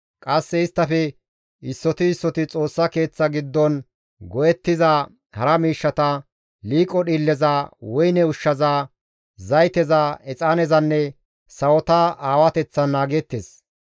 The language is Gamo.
Qasse isttafe issoti issoti Xoossa Keeththa giddon go7ettiza hara miishshata, liiqo dhiilleza, woyne ushshaza, zayteza, exaanezanne sawota aawateththan naageettes.